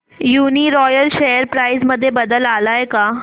Uniroyal share price मध्ये बदल आलाय का